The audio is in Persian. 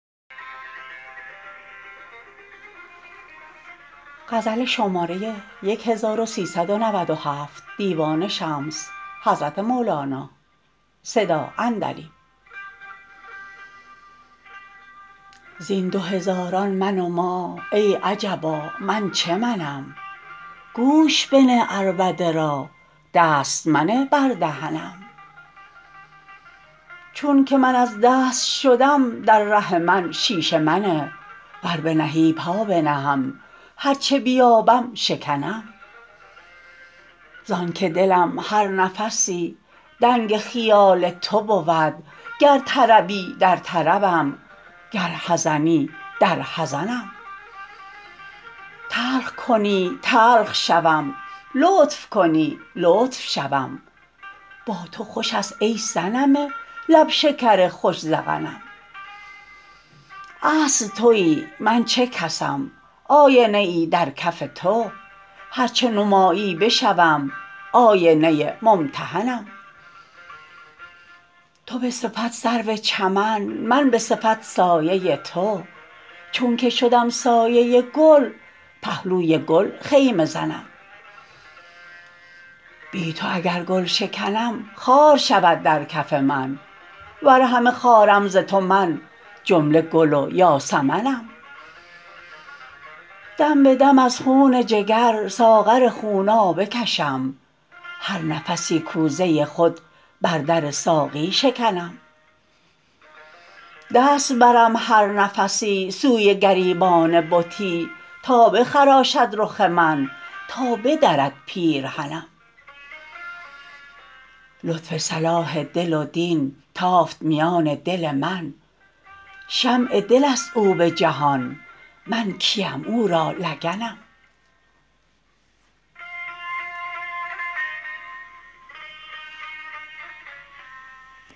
زین دو هزاران من و ما ای عجبا من چه منم گوش بنه عربده را دست منه بر دهنم چونک من از دست شدم در ره من شیشه منه ور بنهی پا بنهم هر چه بیابم شکنم زانک دلم هر نفسی دنگ خیال تو بود گر طربی در طربم گر حزنی در حزنم تلخ کنی تلخ شوم لطف کنی لطف شوم با تو خوش است ای صنم لب شکر خوش ذقنم اصل توی من چه کسم آینه ای در کف تو هر چه نمایی بشوم آینه ممتحنم تو به صفت سرو چمن من به صفت سایه تو چونک شدم سایه گل پهلوی گل خیمه زنم بی تو اگر گل شکنم خار شود در کف من ور همه خارم ز تو من جمله گل و یاسمنم دم به دم از خون جگر ساغر خونابه کشم هر نفسی کوزه خود بر در ساقی شکنم دست برم هر نفسی سوی گریبان بتی تا بخراشد رخ من تا بدرد پیرهنم لطف صلاح دل و دین تافت میان دل من شمع دل است او به جهان من کیم او را لگنم